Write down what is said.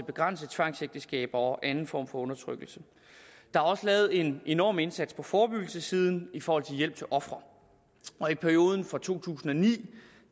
begrænse tvangsægteskaber og anden form for undertrykkelse der er også lavet en enorm indsats på forebyggelsessiden i forhold til hjælp til ofre i perioden fra to tusind og ni